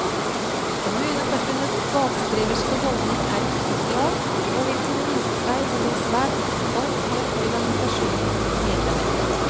Kommuneforbundets bakstreverske holdning er usosial, og vil kunne vise seg å bli svært kostbar for organisasjonens medlemmer.